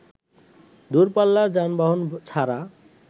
দূরপাল্লার যানবাহন ছাড়া